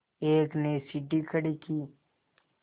एक ने सीढ़ी खड़ी की